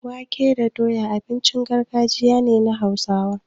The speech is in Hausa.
Wake da doya abincin gargajiya ne na Hausawa.